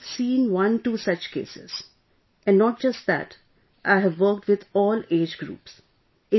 So I have seen 12 such cases sir and not just that ...I have worked with all age groups